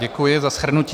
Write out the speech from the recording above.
Děkuji za shrnutí.